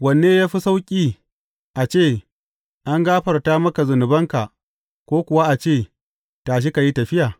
Wanne ya fi sauƙi, a ce, An gafarta maka zunubanka,’ ko kuwa a ce, Tashi ka yi tafiya?’